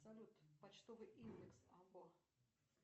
салют почтовый индекс аббо